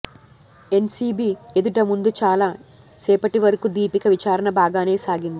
NCB ఎదుట ముందు చాలా సేపటివరకూ దీపిక విచారణ బాగానే సాగింది